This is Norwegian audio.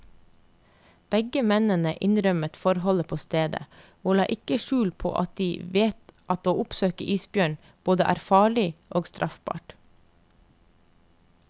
Begge mennene innrømmet forholdet på stedet, og la ikke skjul på at de vet at å oppsøke isbjørn både er farlig og straffbart.